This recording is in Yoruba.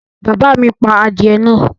Bàbá mi pa adìẹ náà?